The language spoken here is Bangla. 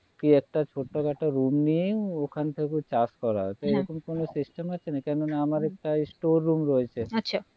কি একটা ছোট খাটো room নিয়ে ওখানে থেকেও চাষ করা হচ্ছে হ্যাঁ এরকম কোনো system আছে নাকি কোনো না আমার একটা store room রয়েছে আচ্ছা